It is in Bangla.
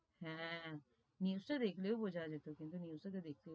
হাঁ, news তা দেখলেও বোঝা যেতো, কিন্তু news টা তো,